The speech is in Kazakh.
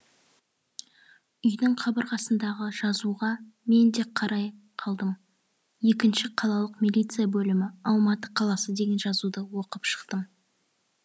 үйдің қабырғасындағы жазуға мен де қарай қалдым екінші қалалық милиция бөлімі алматы қаласы деген жазуды оқып шықтым